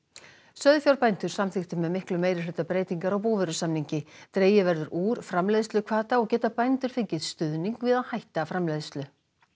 sauðfjárbændur samþykktu með miklum meirihluta breytingar á búvörusamningi dregið verður úr framleiðsluhvata og geta bændur fengið stuðning við að hætta framleiðslu